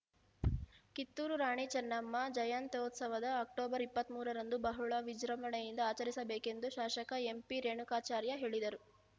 ಕಿತ್ತೂರು ರಾಣಿ ಚೆನ್ನಮ್ಮ ಜಯಂತ್ಯುತ್ಸವ ಅಕ್ಟೋಬರ್ ಇಪ್ಪತ್ತ್ ಮೂರರಂದು ಬಹಳ ವಿಜೃಂಭಣೆಯಿಂದ ಆಚರಿಸಬೇಕೆಂದು ಶಾಸಕ ಎಂಪಿ ರೇಣುಕಾಚಾರ್ಯ ಹೇಳಿದರು